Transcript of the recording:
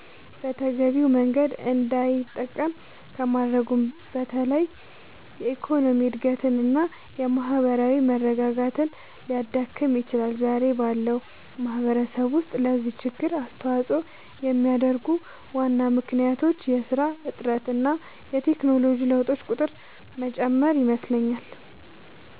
በተገቢው መንገድ እንዳይጠቀም ከማድረጉም በላይ የኢኮኖሚ እድገትን እና የማህበራዊ መረጋጋትን ሊያዳክም ይችላል። ዛሬ ባለው ማህበረሰብ ውስጥ ለዚህ ችግር አስተዋጽኦ የሚያደርጉ ዋና ምክንያቶች የስራ እጥረት እና የቴክኖሎጂ ለውጦች ቁጥር መጨመር ይመስለኛል